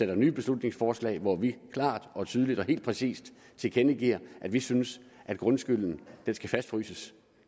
et nyt beslutningsforslag hvor vi klart og tydeligt helt præcist tilkendegiver at vi synes at grundskylden skal fastfryses